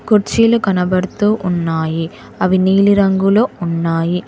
కుర్చీలు కనబడుతూ ఉన్నాయి అవి నీలి రంగులో ఉన్నాయి.